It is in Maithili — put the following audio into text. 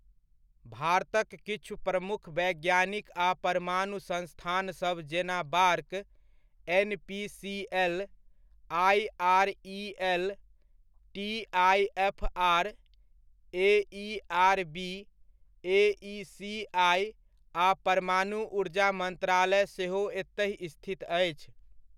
भारतक किछु प्रमुख वैज्ञानिक आ परमाणु संस्थानसभ जेना BARC, .NPCL IREL., TIFR., AERB, AECI. आ परमाणु ऊर्जा मन्त्रालय सेहो एतहि स्थित अछि।